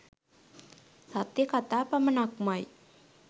සත්‍ය කතා පමණක්මයි